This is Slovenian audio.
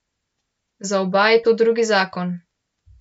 Za oba je to drugi zakon.